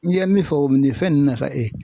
N'i ye min fɔ o ni fɛn nunnu nafa e ye